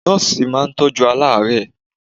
Nọ́ọ̀sí máa ń tọ́jú aláàrẹ́ẹ̀.